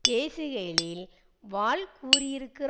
பேசுகையில் வாள் கூறியிருக்கிறார்